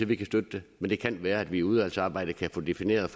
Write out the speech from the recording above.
vi kan støtte det men det kan være at vi i udvalgsarbejdet kan få defineret og